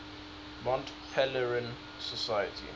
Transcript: mont pelerin society